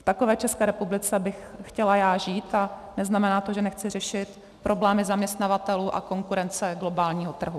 V takové České republice bych chtěla já žít a neznamená to, že nechci řešit problémy zaměstnavatelů a konkurence globálního trhu.